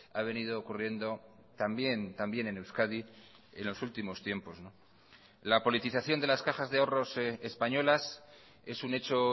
ha venido ocurriendo también también en euskadi en los últimos tiempos la politización de las cajas de ahorros españolas es un hecho